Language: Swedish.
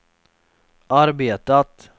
arbetat